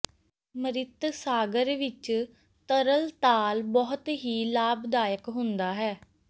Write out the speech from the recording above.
ਮ੍ਰਿਤ ਸਾਗਰ ਵਿਚ ਤਰਣਤਾਲ ਬਹੁਤ ਹੀ ਲਾਭਦਾਇਕ ਹੁੰਦਾ ਹੈ